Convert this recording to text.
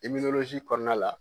Eminolozi kɔnɔna la